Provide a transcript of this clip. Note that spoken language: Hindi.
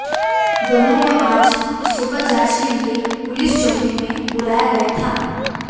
दोनों को आज सुबह जांच के लिए पुलिस चौकी में बुलाया गया था